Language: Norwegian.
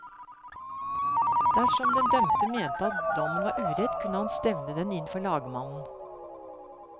Dersom den dømte mente at dommen var urett kunne han stevne den inn for lagmannen.